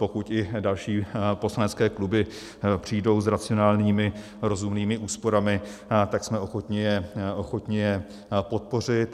Pokud i další poslanecké kluby přijdou s racionálními, rozumnými úsporami, tak jsme ochotni je podpořit.